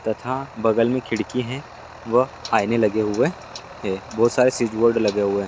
तथा बगल में खिड़की हैं व आईने लगे हुए हैं बहोत सारे स्विच बोर्ड लगे हुए हैं।